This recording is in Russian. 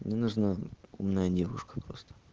мне нужна умная девушка просто